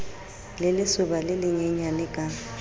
le lesoba le lenyenyane ka